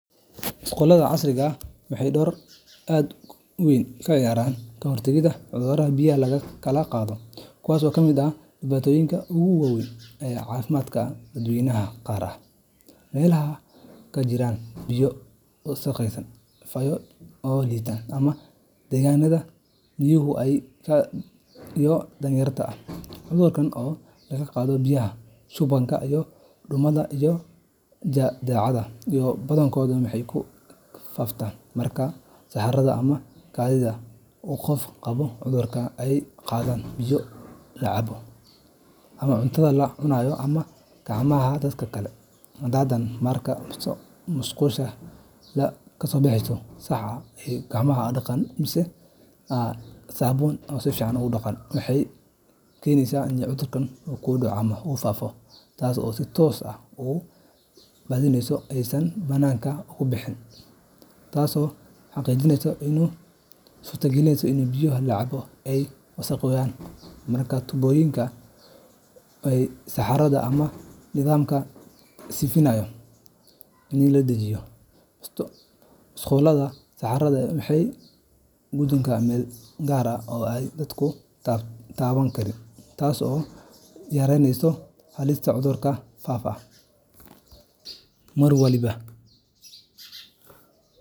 Musqulaha casriga ah waxay door aad u weyn ka ciyaaraan ka hortagga cudurrada biyaha lagu kala qaado, kuwaas oo kamid ah dhibaatooyinka ugu waaweyn ee caafimaadka dadweynaha, gaar ahaan meelaha ay ka jiraan biyo wasakhaysan, fayo dhowr liita, ama deegaannada miyiga ah iyo danyarta ah. Cudurrada sida daacuunka , shubanka , duumada, iyo jadeecada, badankood waxay ku faaftaan marka saxarada ama kaadida qof qaba cudurku ay gaarto biyaha la cabo, cuntada la cunayo, ama gacmaha dadka kale. Haddaba, marka musqulaha la dhiso si sax ah oo ay helaan nidaam hufan oo nadiifin iyo tuurista saxarada, waxay xannibaan wadada ay cudurradu ku faafo, taas oo si toos ah u badbaadinaysa nolosha dad badan. Musqulaha si wanaagsan loo dhisay oo la isticmaalo waxay keeni karaan in saxarada aysan bannaanka uga bixin deegaanka, taasoo xadidaysa suurtogalnimada in biyo la cabo ay wasakhoobaan. Marka tuubooyinka, godadka saxarada , ama nidaamyada sifeynta lagu dhejiyo musqulaha, saxarada waxay u gudubtaa meel gaar ah oo aan dadku taaban karin, taasoo yaraynaysa halista cudurada faafa mar waliba .